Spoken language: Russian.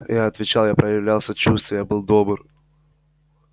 я отвечал я проявлял сочувствие я был добр